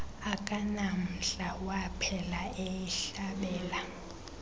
akanamdla waphela eyihlabela